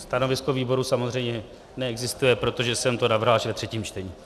Stanovisko výboru samozřejmě neexistuje, protože jsem to navrhl až ve třetím čtení.